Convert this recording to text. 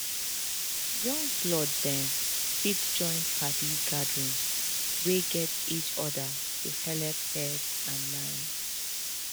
young blood dem fit join padi gathering wey gat each other to helep head and mind